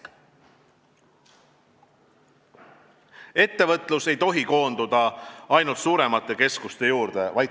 Ettevõtlus ei tohi koonduda ainult suuremate keskuste juurde.